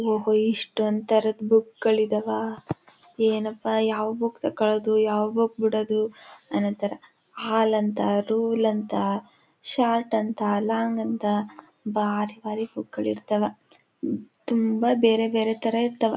ಹೊ ಹೋಇ ಇಷ್ಟೊಂದು ತರ ಬುಕ್ ಗಳು ಇದಾವ ಏನಪ್ಪಾ ಯಾವ ಬುಕ್ಕು ಕಳೆದು ಯಾವ ಬುಕ್ಕು ಬಿಡದು ಅನಾಥರ ಹಾಲಂತ ರೂಲ್ ಅಂತ ಶಾರ್ಟ್ ಅಂತ ಲಾಂಗ್ ಅಂತ ಬಾರಿ ಬಾರಿ ಬುಕ್ ಗಳು ಇರ್ತಾವ ತುಂಬಾ ಬೇರೆ ಬೇರೆ ತರ ಇರ್ತಾವ.